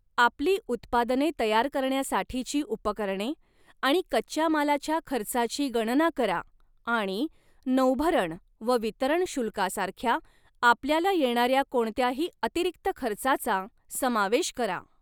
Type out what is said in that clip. आपली उत्पादने तयार करण्यासाठीची उपकरणे आणि कच्च्या मालाच्या खर्चाची गणना करा आणि नौभरण व वितरण शुल्कासारख्या आपल्याला येणार्या कोणत्याही अतिरिक्त खर्चाचा समावेश करा.